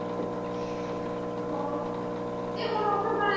ਯਾਰ ਤੇ ਹੁਣ ਉਹ ਦਾ ਗਾਣਾ ਨਹੀਂ ਆਇਆ।